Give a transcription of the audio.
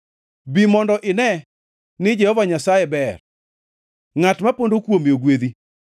Bi mondo ine ni Jehova Nyasaye ber; ngʼat ma pondo kuome ogwedhi.